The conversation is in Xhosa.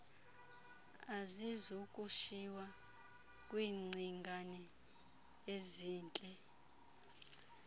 azizukushiywa kwingcingane ezintle